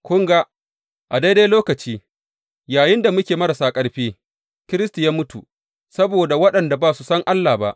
Kun ga, a daidai lokaci, yayinda muke marasa ƙarfi, Kiristi ya mutu saboda waɗanda ba su san Allah ba.